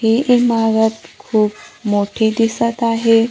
ही इमारत खूप मोठी दिसत आहे.